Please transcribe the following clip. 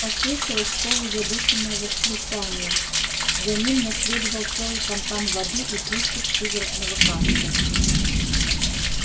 послышалось полузадушенное восклицание за ним наследовал целый фонтан воды и приступ судорожного кашля